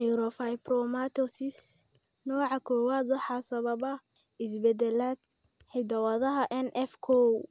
Neurofibromatosis nooca kowad waxaa sababa isbeddelada (isbeddellada) hidda-wadaha NF kow.